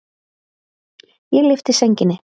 Ég lyfti sænginni.